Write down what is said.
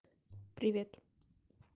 привет